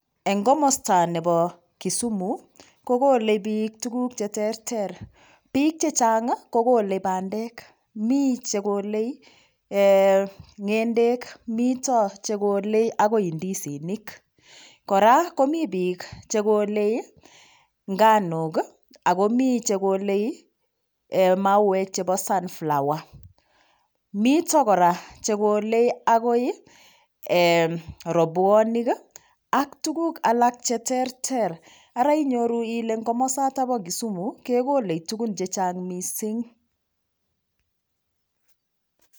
Eng komosta nebo Kisumu kokolei piik tuguk cheterter piik chechang'kokolei bandek mi chekolei ng'endek mito chekolei akoi ndisinik kora komi piik chekolei nganok Ako mi chekolei mauwek chebo sunflower mito kora chekolei akoi robuanik ak tuguk alak cheterter Ara inyoru ile komosata bo Kisumu kekolei tugun chechang' mising